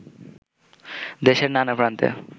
দেশের নানা প্রান্তে